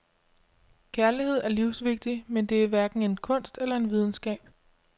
Kærlighed er livsvigtig, men den er hverken en kunst eller en videnskab.